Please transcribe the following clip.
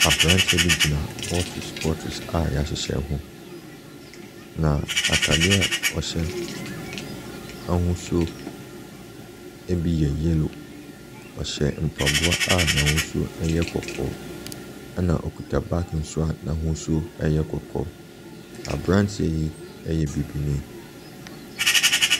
Abranteɛ bi gyina bottles bottles bi a yɛahyhyɛ ho. Na ataadeɛ a ɔhyɛ n'ahosuo no bi yellow. Ɔhyɛ mpaboa a n'ahosuo yɛ kɔkɔɔ na okita baage nso a n'ahosuo yɛ kɔkɔɔ. Abranteɛ yi yɛ Bibini.